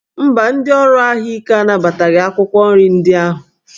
Mba, ndị ọrụ ahụike anabataghị akwụkwọ nri ndị ahụ